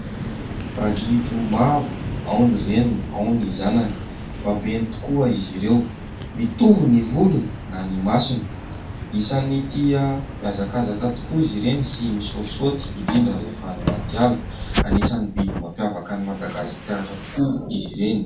Ragidro maro, ao ny reniny, ao ny zanany. Babeny tokoa izy ireo. Mitovy ny volony na ny masony. Isany tia miazakazaka tokoa izy ireny sy misoatisoaty indrindra rehefa any anaty ala anisan'ny biby mampiavaka an'i Madagasikara tokoa izy ireny